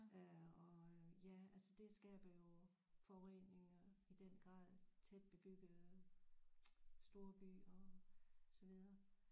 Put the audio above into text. Øh og ja altså det skaber jo forurening i den grad tæt bebyggede storbyer og så videre